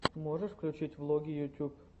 можешь включить влоги ютуб